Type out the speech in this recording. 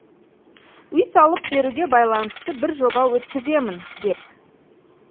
үй салып беруге байланысты бір жоба өткіземін деп